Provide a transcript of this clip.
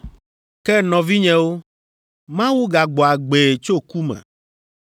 “Ke nɔvinyewo, Mawu gagbɔ agbee tso ku me,